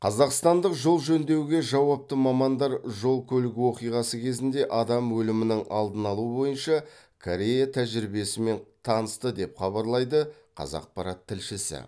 қазақстандық жол жөндеуге жауапты мамандар жол көлік оқиғасы кезінде адам өлімінің алдын алу бойынша корея тәжірибесімен танысты деп хабарлайды қазақпарат тілшісі